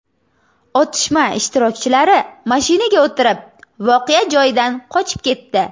Otishma ishtirokchilari mashinaga o‘tirib, voqea joyidan qochib ketdi.